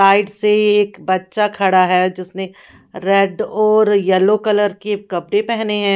Side से एक बच्चा खड़ा है जिसने रेड और येलो कलर के कपड़े पेहने हैं।